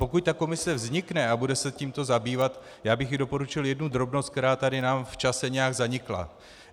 Pokud ta komise vznikne a bude se tímto zabývat, já bych jí doporučil jednu drobnost, která nám tady v čase nějak zanikla.